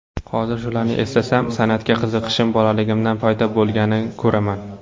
Hozir shularni eslasam, san’atga qiziqishim bolaligimdan paydo bo‘lganini ko‘raman.